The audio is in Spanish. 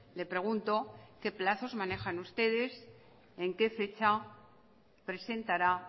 le pregunto qué plazos manejan ustedes en qué fecha presentará